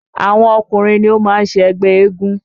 Àwọn Ọkùnrin ni ó máa ń ṣe ẹgbẹ́ eégún